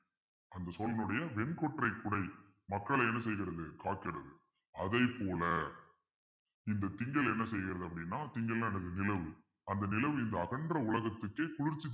அந்த சோழனுடைய வெண்கொற்றை குடை மக்களை என்ன செய்கிறது காக்கிறது அதைப்போல இந்த திங்கள் என்ன செய்கிறது அப்பிடின்னா திங்கள்ன்னா என்னது நிலவு அந்த நிலவு இந்த அகன்ற உலகத்துக்கே குளிர்ச்சி